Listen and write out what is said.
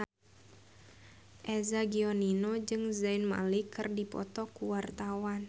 Eza Gionino jeung Zayn Malik keur dipoto ku wartawan